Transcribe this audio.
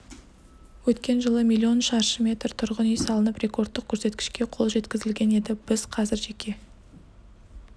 өткен жылы миллион шаршы метр тұрғын үй салынып рекордтық көрсеткішке қол жеткізілген еді біз қазір жеке